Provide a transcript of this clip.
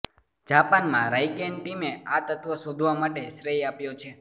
જાપાનમાં રાઇકેન ટીમે આ તત્વ શોધવા માટે શ્રેય આપ્યો છે